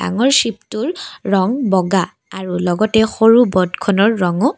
ৱাৰশ্বিপটোৰ ৰং বগা আৰু সৰু লগতে ব'টখনৰ ৰঙো--